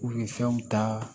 U ye fɛnw ta